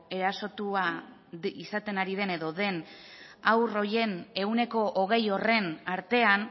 erasotua izaten ari den edo den haur horien ehuneko hogei horren artean